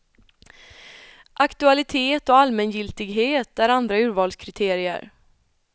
Aktualitet och allmängiltighet är andra urvalskriterier.